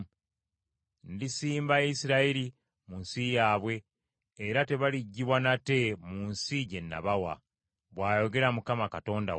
Ndisimba Isirayiri mu nsi yaabwe, era tebaliggibwa nate mu nsi gye nabawa,” bw’ayogera Mukama Katonda wammwe.